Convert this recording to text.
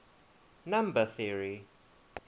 number theory